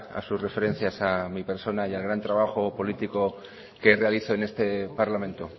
a su referencias a mi persona y al gran trabajo político que realizo en este parlamento